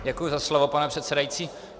Děkuji za slovo, pane předsedající.